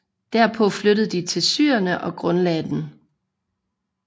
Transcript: Derpå flyttede de til Cyrene og grundlagde den